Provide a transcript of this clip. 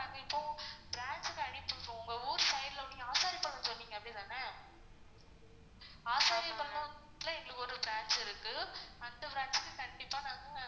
இப்போ transfer ஆயிட்டு இருக்கு உங்க ஊர் side ல நீங்க அப்படித்தான எங்களுக்கு ஒரு branch இருக்கு அந்த branch ல கண்டிப்பா நாங்க